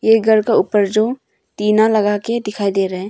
ये घर का ऊपर जो टीना लगाके दिखाई दे रहे है।